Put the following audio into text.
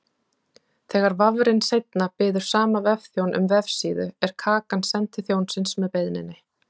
Þegar vafrinn seinna biður sama vefþjón um vefsíðu er kakan send til þjónsins með beiðninni.